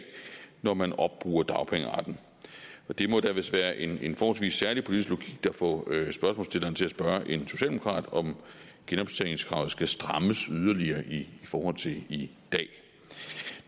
når man opbruger dagpengeretten og det må da vist være en forholdsvis særlig politisk logik der får spørgsmålsstilleren til at spørge en socialdemokrat om genoptjeningskravet skal strammes yderligere i forhold til i dag